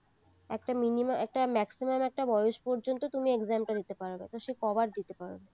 একটা minimum একটা maximum বয়স পর্যন্তু তুমি exam টা দিতে পারবে তো সে কয়বার দিবে